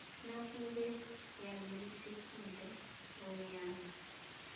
nakube yanelisekile bonyana